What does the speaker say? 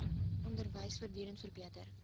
onderwys voortdurend verbeter